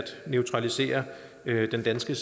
neutralisere den danske